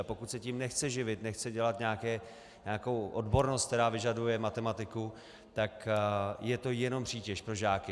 A pokud se tím nechce živit, nechce dělat nějakou odbornost, která vyžaduje matematiku, tak je to jenom přítěž pro žáky.